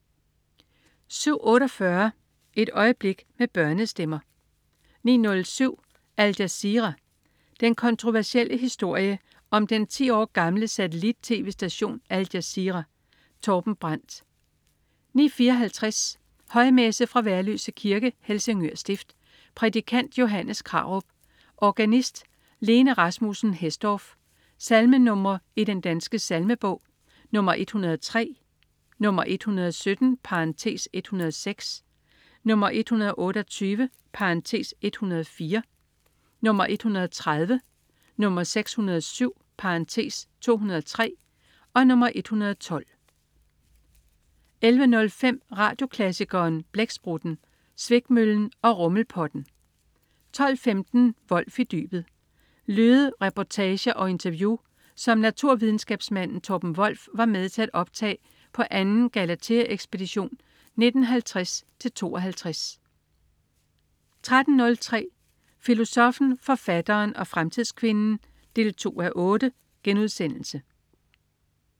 07.48 Et øjeblik med børnestemmer 09.07 Al Jazeera. Den kontroversielle historie om den 10 år gamle satellit-tv-station Al Jazeera. Torben Brandt 09.54 Højmesse. Fra Værløse Kirke. Helsingør Stift. Prædikant: Johannes Krarup. Organist: Lene Rasmussen Hesdorf. Salmenr. i Den Danske Salmebog: 103, 117 (106), 128 (104), 130, 607 (203), 112 11.05 Radioklassikeren. Blæksprutten, Svikmøllen og Rummelpotten 12.15 Wolff i dybet. Lyde, reportager og interview, som naturvidenskabsmanden Torben Wolff var med til at optage på anden Galatheaekspedition i 1950-52 13.03 Filosoffen, forfatteren og fremtidskvinden 2:8*